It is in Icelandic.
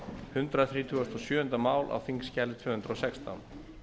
hundrað þrítugasta og sjöunda mál á þingskjali tvö hundruð og sextán